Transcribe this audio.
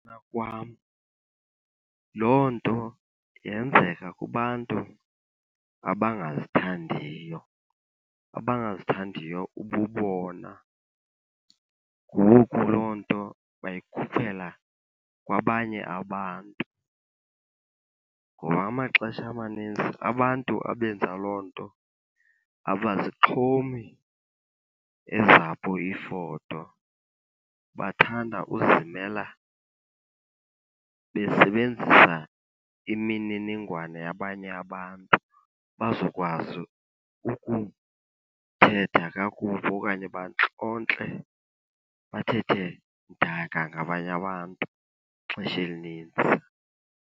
kwam, loo nto yenzeka kubantu abangazithandiyo, abangazithandiyo ububona. Ngoku loo nto bayikhuphela kwabanye abantu, ngoba amaxesha amaninzi abantu abenza loo nto abazixhomi ezabo iifoto. Bathanda uzimela besebenzisa imininingwane yabanye abantu bazokwazi ukuthetha kakubi okanye bantlonte, bathethe mdaka ngabanye abantu ixesha elinintsi.